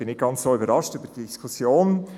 Ich bin nicht ganz überrascht über die Diskussion.